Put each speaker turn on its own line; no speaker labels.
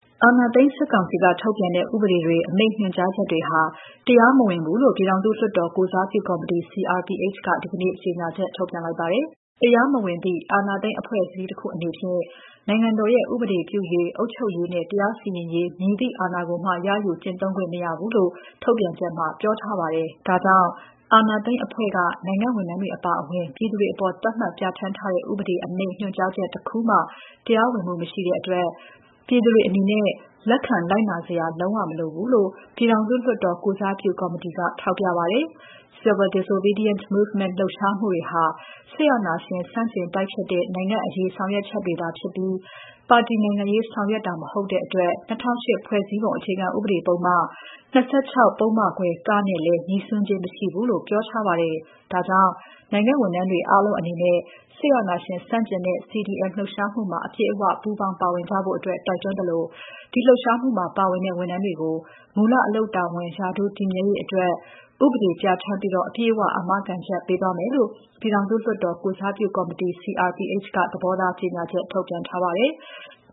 အာဏာသိမ်းစစ်ကောင်စီက ထုတ်ပြန်ထားတဲ့ ဥပဒေတွေ၊ အမိန့် ညွှန်ကြားချက်တွေဟာ တရားမဝင်ဘူးလို့ ပြည်ထောင်စုလွှတ်တော် ကိုယ်စားပြု ကော်မတီ CRPH က ဒီနေ့ ကြေညာချက်ထုတ်ပြန်ပါတယ်။ "တရားမဝင်သည့် အာဏာသိမ်း အဖွဲ့အစည်းတစ်ခုအနေဖြင့် နိုင်ငံတော်ရဲ့ ဥပဒေပြုရေး၊ အုပ်ချုပ်ရေးနဲ့ တရားစီရင်ရေး မည်သည့်အာဏာကိုမှ ရယူကျင့်သုံးခွင့်မရှိဘူး" လို့ ထုတ်ပြန်ချက်မှာ ပြောထားပါတယ်။ ဒါကြောင့် အာဏာသိမ်းအဖွဲ့က နိုင်ငံ့ဝန်ထမ်းများအပါအဝင် ပြည်သူတွေအပေါ် သတ်မှတ်ပြဋ္ဌာန်းတဲ့ ဥပဒေ၊ အမိန့်၊ ညွှန်ကြားချက်တခုမှ တရားဝင်မှုမရှိတဲ့အတွက် ပြည်သူတွေအနေနဲ့ လက်ခံလိုက်နာစရာ လုံးဝမလိုဘူးလို့ ပြည်ထောင်စုလွှတ်တော် ကိုယ်စားပြု ကော်မတီက ထောက်ပြပါတယ်။ Civil Disobedience Movement လှုပ်ရှားမှုတွေဟာ စစ်အာဏာရှင် ဆန့်ကျင်တိုက်ဖျက်တဲ့ နိုင်ငံ့အရေးဆောင်ရွက်ချက်သာဖြစ်ပြီး ပါတီနိုင်ငံရေးဆောင်ရွက်တာ မဟုတ်တဲ့အတွက် ၂၀၀၈ ခုနှစ် ဖွဲ့စည်းပုံ အခြေခံဥပဒေပုဒ်မ ၂၆ ပုဒ်မခွဲ (က) နဲ့လည်း ငြိစွန်းခြင်းမရှိဘူးလို့ ပြောထားပါတယ်။ ဒါကြောင့် နိုင်ငံ့ဝန်ထမ်းတွေ အားလုံးအနေနဲ့ စစ်အာဏာရှင်ဆန့်ကျင်တဲ့ CDM လှုပ်ရှားမှုမှာ အပြည့်အဝ ပူးပေါင်း ပါဝင်ကြဖို့ တိုက်တွန်းသလို ဒီလှုပ်ရှားမှုမှာ ပါဝင်တဲ့ ဝန်ထမ်းတွေကို မူလအလုပ်တာဝန် ရာထူး တည်မြဲရေးအတွက် ဥပဒေပြဋ္ဌာန်းပြီး အပြည့်အဝ အာမခံချက်ပေးသွားမယ်လို့ ပြည်ထောင်စုလွှတ်တော် ကိုယ်စားပြုကော်မတီ CRPH က သဘောထား ကြေညာချက် ထုတ်ပြန်ပါတယ်။